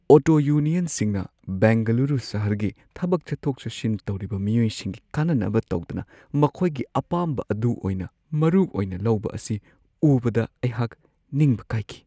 Auto ꯌꯨꯅꯤꯌꯟꯁꯤꯡꯅ ꯕꯦꯡꯒꯂꯨꯔꯨ ꯁꯍꯔꯒꯤ ꯊꯕꯛ ꯆꯠꯊꯣꯛ-ꯆꯠꯁꯤꯟ ꯇꯧꯔꯤꯕ ꯃꯤꯑꯣꯏꯁꯤꯡꯒꯤ ꯀꯥꯟꯅꯅꯕ ꯇꯧꯗꯅ ꯃꯈꯣꯏꯒꯤ ꯑꯄꯥꯝꯕ ꯑꯗꯨ ꯑꯣꯏꯅ ꯃꯔꯨꯑꯣꯏꯅ ꯂꯧꯕ ꯑꯁꯤ ꯎꯕꯗ ꯑꯩꯍꯥꯛ ꯅꯤꯡꯕ ꯀꯥꯏꯈꯤ ꯫